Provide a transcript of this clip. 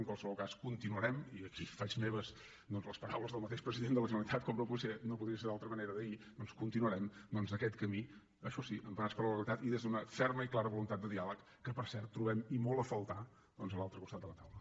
en qualsevol cas continuarem i aquí faig meves doncs les paraules del mateix president de la generalitat com no podria ser d’altra manera d’ahir aquest camí això sí emparats per la legalitat i des d’una ferma i clara voluntat de diàleg que per cert trobem i molt a faltar a l’altre costat de la taula